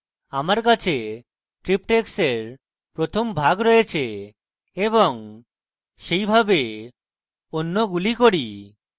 আমার কাছে triptychs এর প্রথম ভাগ রয়েছে এবং সেইভাবে অন্যগুলি করি